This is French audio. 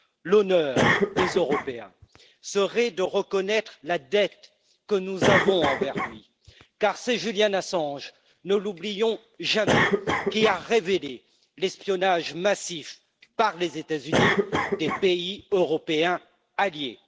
L'honneur des Européens serait de reconnaître la dette que nous avons envers lui, car c'est Julian Assange ne l'oublions jamais qui a révélé l'espionnage massif, par les États Unis, des pays européens alliés.